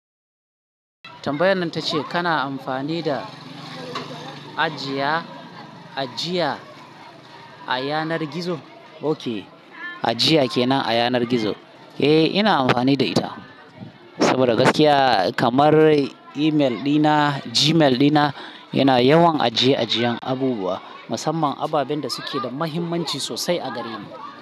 Tambayar nan ta ce kana amfani da ajiya, ajiya a yanar gizo? Oke ajiya kenan a yanar gizo. Eh, ina amfani da ita saboda gaskiya kamar email dina, Gmail dina yana yawan aje ajiyan abubuwa, musamman ababen da suke da muhimmanci sosai a gare mu.